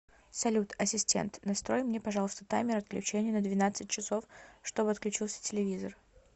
салют ассистент настрой мне пожалуйста таймер отключения на двенадцать часов чтоб отключился телевизор